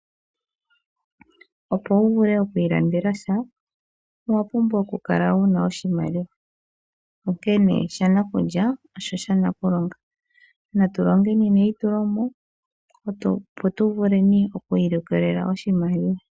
Opo wuvule okwiilandela sha, owapumbwa okukala wuna oshimaliwa , onkene shanakulya osho shanakulonga. Natu longeni neitulomo opo tuvule okwiilikolela oshimaliwa.